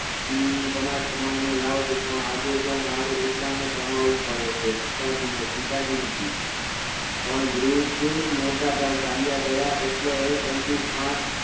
કમાઈ કમાઈ ને લાવતું પણ આજે જો મારે એકલાને કમાવું પડે છે પિતાજી નથી પણ ગુરુજ મોઠા ભાઈ ચાલ્યા ગયા એટલે એમનું આજ